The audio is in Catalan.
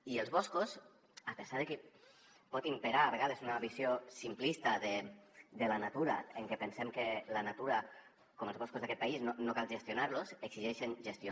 i els boscos a pesar de que pot imperar a vegades una visió simplista de la natura en què pensem que la natura com els boscos d’aquest país no cal gestionar los exigeixen gestió